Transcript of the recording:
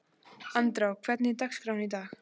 Andrá, hvernig er dagskráin í dag?